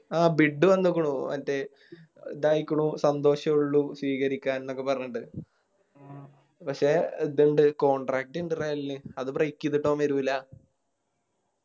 ആ ബിഡ് വന്നിക്കുണു മറ്റേ ഇതായിക്കുണു സന്തോഷേ ഉള്ളു സ്വീകരിക്കാൻ ന്നൊക്കെ പറഞ്ഞിട്ട് പക്ഷെ ഇതിണ്ട് Contract ഇണ്ട് റയലിന് അത് Break ചെയ്തിട്ട് അവൻ വരൂല